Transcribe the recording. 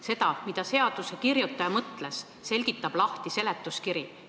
Seda, mida eelnõu kirjutaja mõtles, selgitab seletuskiri.